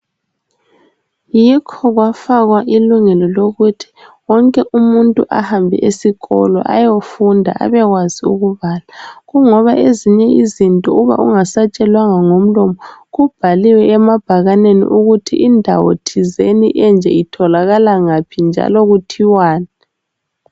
Yikho kwafakwa ilungelo lokuthi wonke umuntu ahambe esikolo ayefunda abekwazi ubala kungoba ezinye izinto nxa ungasatshelwanga ngomlomo kubhaliwe emabhakanini ukuthi indawo thizeni enje itholakala ngaphi njalo kuthiwani